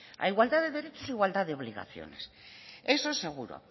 a igualdad de derechos igualdad de obligaciones eso es seguro